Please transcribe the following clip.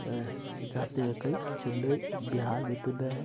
अह जाते हैं कई चेन्नई बिहार में --